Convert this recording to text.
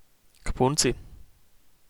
K punci?